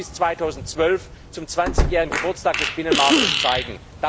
Das wollen wir bis 2012 zum zwanzigjährigen Geburtstag des Binnenmarkts zeigen.